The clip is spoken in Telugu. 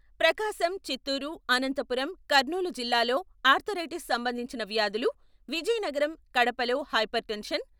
ప్రకాశం, చిత్తూరు, అనంతపురం, కర్నూలు జిల్లాల్లో ఆర్థరైటిస్ సంబంధించిన వ్యాధులు, విజయనగరం, కడపలో హైపర్ టెన్షన్..